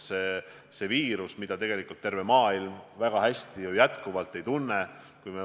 Seda viirust tegelikult terve maailm ju kuigi hästi ikka veel ei tunne.